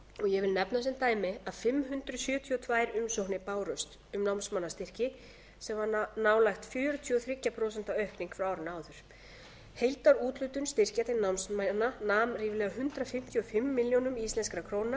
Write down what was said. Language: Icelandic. ég vil nefna sem dæmi að fimm hundruð sjötíu og tvær umsóknir bárust um námsmannastyrki sem var nálægt fjörutíu og þrjú prósent aukning frá árinu áður heildarúthlutun styrkja til námsmanna nam ríflega hundrað fimmtíu og fimm milljónir